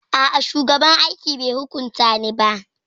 A'a, shugaban aiki bai hukunta ni ba.